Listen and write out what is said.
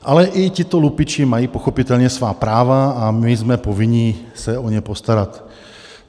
Ale i tito lupiči mají pochopitelně svá práva a my jsme povinni se o ně postarat.